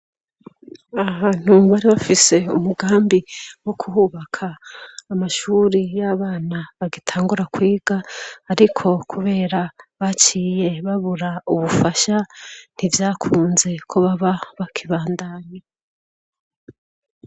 Aha ntu mbari bafise umugambi wo kuhubaka amashuri y'abana bagatangura kwiga, ariko, kubera baciye babura ubufasha ntivyakunze ko baba bakibandanye.